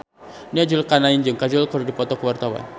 Nia Zulkarnaen jeung Kajol keur dipoto ku wartawan